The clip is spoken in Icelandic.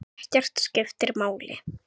Ekkert skiptir máli.